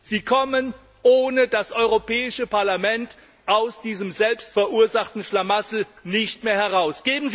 Sie kommen ohne das Europäische Parlament aus diesem selbstverursachten Schlamassel nicht mehr heraus!